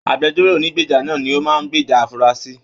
Agbẹ̀jọ́ro ònígbeja ní o máa n gbèjà afurasi.